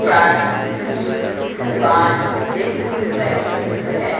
चाय की दुकान दिख रही है।